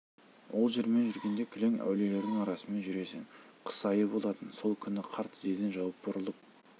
ол жермен жүргенде кілең әулиелердің арасымен жүресің қыс айы болатын сол күні қар тізеден жауыпты бұрылып